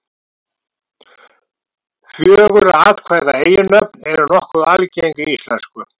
Fjögurra atkvæða eiginnöfn eru nokkuð algeng í íslensku.